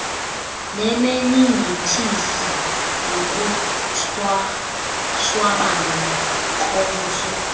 nemeningitis nokushwabana kobuso